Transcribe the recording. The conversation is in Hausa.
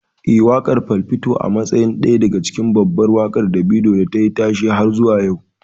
Eh, waƙar 'Fall' fito a matsayin daya daga cikin babban waƙar Davido da tayi tashe har zuwa yau.